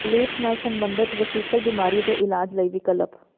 ਲੇਪਸ ਨਾਲ ਸੰਬੰਧਤ ਵਸੀਕਲ ਬਿਮਾਰੀ ਦੇ ਇਲਾਜ ਲਈ ਵਿਕਲਪ